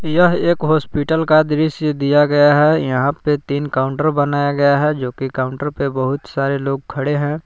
यह एक हॉस्पिटल का दृश्य दिया गया है। यहाँ पे तीन काउंटर बनाया गया है। जो की काउंटर पे बहुत सारे लोग खड़े है।